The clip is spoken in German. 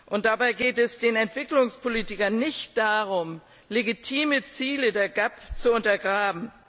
Und dabei geht es den Entwicklungspolitikern nicht darum, legitime Ziele der GAP zu untergraben.